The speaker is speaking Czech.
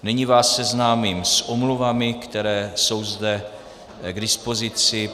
Nyní vás seznámím s omluvami, které jsou zde k dispozici.